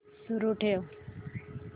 सुरू ठेव